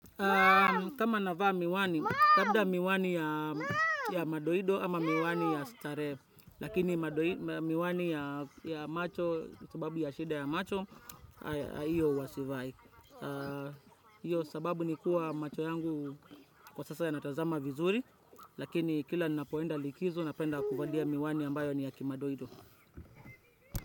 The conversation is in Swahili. Kama navaa miwani, labda miwani ya madoido ama miwani ya stare. Lakini madoi miwani ya macho, sababu ya shida ya macho, iyo huwa sivai. Iyo sababu ni kuwa macho yangu kwa sasa yanatazama vizuri, lakini kila ninapoenda likizo napenda kuvalia miwani ambayo ni ya kimadoido.